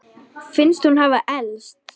Finnst hún hafa elst.